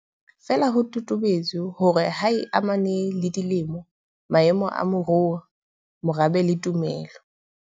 Feela ho totobetse hore ha e amane le dilemo, maemo a moruo, morabe le tumelo.